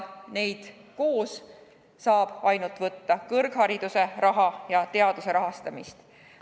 Neid saab võtta ainult koos – kõrghariduse rahastamist ja teaduse rahastamist.